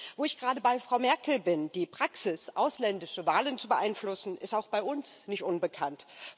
Wo ich gerade bei Frau Merkel bin Die Praxis, ausländische Wahlen zu beeinflussen, ist auch bei uns nicht unbekannt.